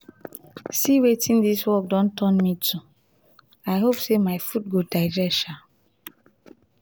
see wetin dis work don turn me to i hope say my food go digest um